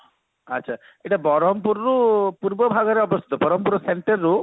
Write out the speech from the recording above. ଆଛା ଏଇଟା ବରହମପୁର ରୁ ପୂର୍ବ ଭାଗରେ ଅବସ୍ଥିତ ବରହମପୁର ର center ରୁ